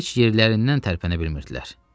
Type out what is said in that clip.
Heç yerlərindən tərpənə bilmirdilər.